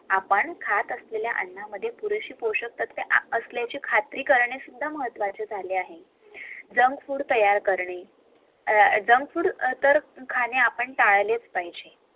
आपण खत असलेल्या अण्णामद्धे पुरेषे पोष्टिक अन्न असल्याच खात्री करणे सुद्धा महत्वाचे आहे